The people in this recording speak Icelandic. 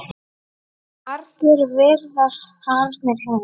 Margir virðast farnir heim.